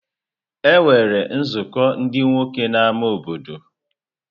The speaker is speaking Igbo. E nwere nzukọ ndị nwoke na ámá obodo.